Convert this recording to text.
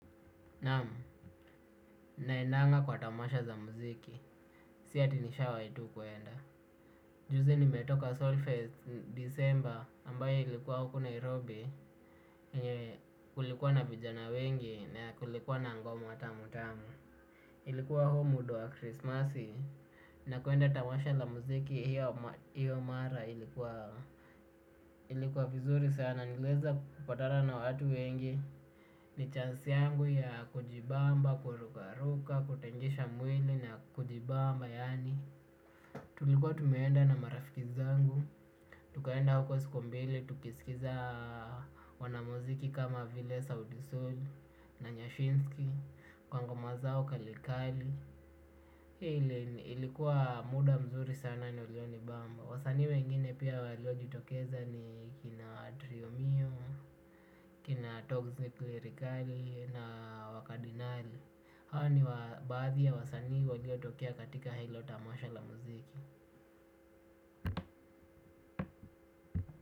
Naam, naendanga kwa tamasha za muziki, si ati nishawahi tu kuenda. Juzi nimetoka Solfest Disemba ambayo ilikuwa huku Nairobi, yenye kulikuwa na vijana wengi na kulikuwa na ngoma tamutamu. Ilikuwa huu muda wa krismasi, na kuenda tamasha la muziki hiyo mara ilikuwa. Ilikuwa vizuri sana niliweza kupatana na watu wengi. Ni chance yangu ya kujibamba, kurukaruka, kutingisha mwili na kujibamba yaani tulikuwa tumeenda na marafiki zangu. Tukaenda huko siku mbili, tukisikiza wanamuziki kama vile Sauti Sol na Nyashinski kwa ngoma zao kalikali. Ilikuwa muda mzuri sana na ulionibamba. Wasanii wengine pia waliojitokeza ni kina Trio Mio, kina Toxic Lyrikali na Wakadinali. Hawa ni wa baadhi ya wasanii waliotokea katika hilo tamasha la muziki.